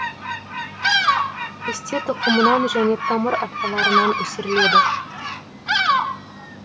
пісте тұқымынан және тамыр атпаларынан өсіріледі